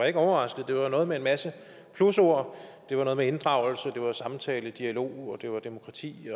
ikke overrasket det var noget med en masse plusord det var noget med inddragelse samtale dialog og det var demokrati